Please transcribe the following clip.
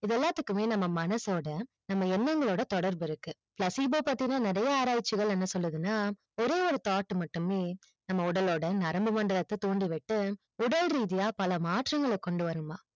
இது எல்லாத்துக்குமே நம்ம மனசுயோட நம்ம எண்ணங்களோட தொடர்புயிருக்கு placebo பத்தின நெறைய ஆராய்ச்சிகள் என்ன சொல்லுதுன்னா ஒரேயொரு thought மட்டுமே நம்ம உடலோடு நரம்பு மண்டங்களுது தூண்டு விட்டு உடல் ரீதியா பல மாற்றங்கள் கொண்டு வருமா